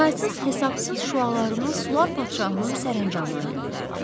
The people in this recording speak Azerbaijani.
Saysız-hesabsız şüalarını sular padşahının sərəncamına göndərdi.